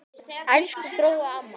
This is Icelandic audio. Elsku Gróa amma.